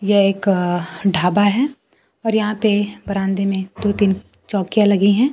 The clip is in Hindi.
यह एक ढाबा है और यहां पे बरामदे में दो तीन चौकियां लगी है।